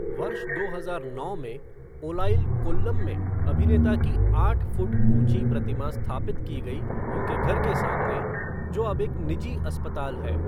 वर्ष दो हजार नौ में ओलाइल, कोल्लम में अभिनेता की आठ फुट ऊँची प्रतिमा स्थापित की गई उनके घर के सामने, जो अब एक निजी अस्पताल है।